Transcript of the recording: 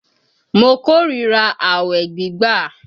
Mo kó ríra àwẹ̀ gbígbà